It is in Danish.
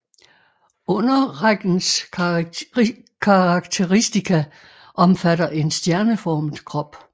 Underrækkens karakteristika omfatter en stjerneformet krop